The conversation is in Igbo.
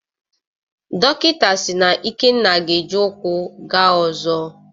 Dọkịta si na Ikenna ga-eji ụkwụ gaa ọzọ.